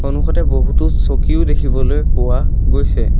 সন্মুখতে বহুতো চকীও দেখিবলৈ পোৱা গৈছে।